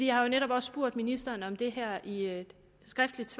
jeg har jo netop også spurgt ministeren om det her i et skriftligt